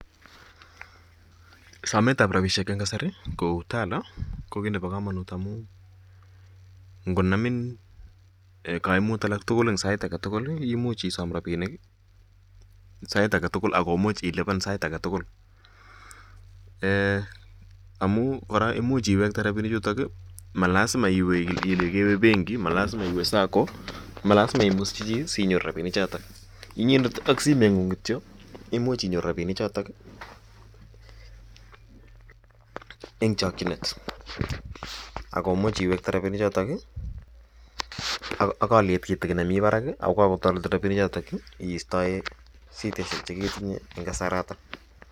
Sometab rabishek en kasari kou Tala ko kiit nebo komonut amun ng'onamin kaimut aketukul anan sait aketukul imuch isom rabinik sait aketukul ak ko imuch iliban sait aketukul Um amuun kora imuch iwekte rabinichutok ii, malasima iwee kelee kewee benki, malasima iwee SACCO, malasima imusyi chii sinyoru rabini chotok, inyendet aKk simoing'ung kityo imuch inyoru rabini chotok en chokyinet ak ko imuch iwekte rabini chotok ak oliet kitikin nemii barak ak kotoretin rabini chotok istoe shidaishek cheketinye en kasarato.